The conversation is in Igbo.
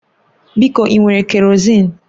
Biko ị nwere kerọzin?